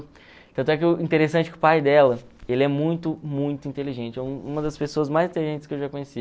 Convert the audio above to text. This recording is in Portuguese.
Tanto é que o interessante é que o pai dela, ele é muito, muito inteligente, é uma das pessoas mais inteligentes que eu já conheci.